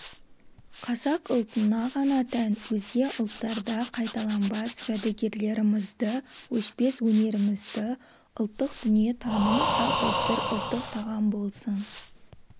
қазақ ұлтына ғана тән өзге ұлттарда қайталанбас жәдігерлерімізді өшпес өнерімізді ұлттық дүние-таным салт-дәстүр ұлттық тағам болсын